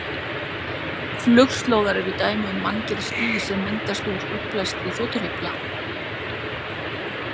Flugslóðar eru dæmi um manngerð ský, sem myndast út útblæstri þotuhreyfla.